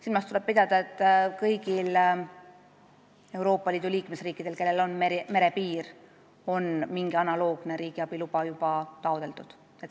Silmas tuleb pidada, et kõik Euroopa Liidu liikmesriigid, kellel on merepiir, on mingit analoogset riigiabiluba juba taotlenud.